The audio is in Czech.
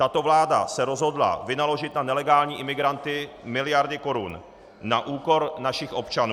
Tato vláda se rozhodla vynaložit na nelegální imigranty miliardy korun na úkor našich občanů.